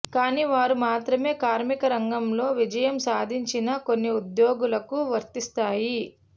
కానీ వారు మాత్రమే కార్మిక రంగంలో విజయం సాధించిన కొన్ని ఉద్యోగులకు వర్తిస్తాయి